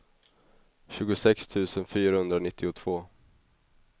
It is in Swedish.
tjugosex tusen fyrahundranittiotvå